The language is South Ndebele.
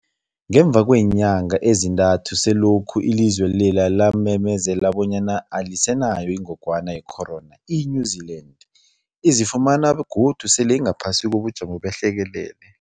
Ngemva kweenyanga ezintathu selokhu ilizwe lela lamemezela bonyana alisenayo ingogwana ye-corona, i-New-Zealand izifumana godu sele ingaphasi kobujamo behlekelele.